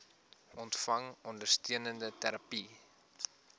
ontvang ondersteunende terapie